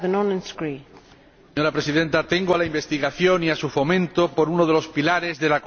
Señora Presidenta, tengo a la investigación y a su fomento por uno de los pilares de la construcción europea.